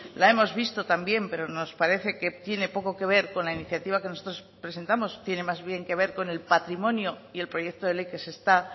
la hemos visto también pero nos parece que tiene poco que ver con la iniciativa que nosotros presentamos tiene más bien que ver con el patrimonio y el proyecto de ley que se está